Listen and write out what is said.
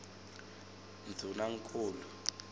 ndvunankhulu